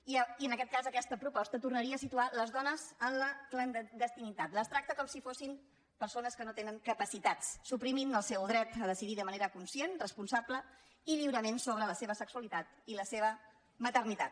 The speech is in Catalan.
i en aquest cas aquesta proposta tornaria a situar les dones en la clandestinitat les tracta com si fossin persones que no tenen capacitats i suprimeix el seu dret a decidir de manera conscient responsable i lliurement sobre la seva sexualitat i la seva maternitat